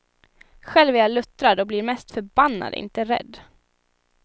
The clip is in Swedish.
Själv är jag luttrad och blir mest förbannad, inte rädd.